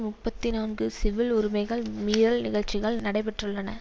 முப்பத்தி நான்கு சிவில் உரிமைகள் மீறல் நிகழ்ச்சிகள் நடைபெற்றுள்ளன